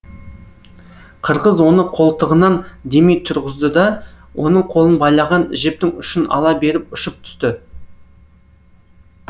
қырғыз оны қолтығынан демей тұрғызды да оның қолын байлаған жіптің ұшын ала беріп ұшып түсті